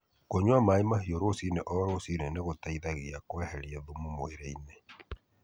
Kũnyua maĩ mahiũ rũcinĩ o rũcinĩ nĩ gũteithagia kweheria thumu mwĩrĩ-inĩ.